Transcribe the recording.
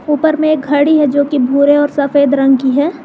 ऊपर में एक घड़ी है जो कि भूरे और सफेद रंग की है।